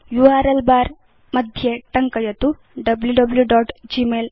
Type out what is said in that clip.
URL bar मध्ये टङ्कयतु wwwgmailcom